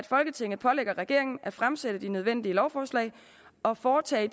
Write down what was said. folketinget pålægger regeringen at fremsætte de nødvendige lovforslag og foretage